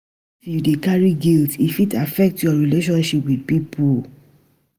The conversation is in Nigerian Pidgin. If you dey carry guilt, e fit affect your relationship wit pipo.